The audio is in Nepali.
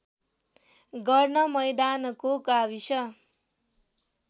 गर्न मैदानको गाविस